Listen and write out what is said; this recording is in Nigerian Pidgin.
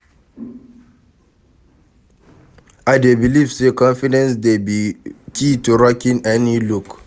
I dey believe say confidence dey be key to rocking any look.